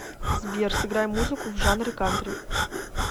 сбер сыграй музыку в жанре кантри